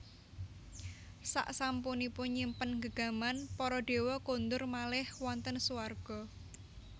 Saksampunipun nyimpen gegaman para dewa kondur malih wonten suwarga